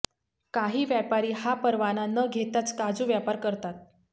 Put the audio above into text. काही व्यापारी हा परवाना न घेताच काजूचा व्यापार करतात